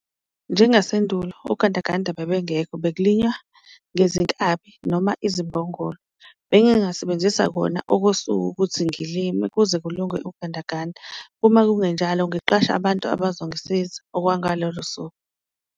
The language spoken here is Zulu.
Njengasendulo ogandaganda bebengekho bekulinywa ngezinkabi noma izimbongolo, bengingasebenzisa kona okosuku ukuthi ngilime kuze kulunge ugandaganda, uma kungenjalo ngiqashe abantu abazongisiza okwangalolo suku.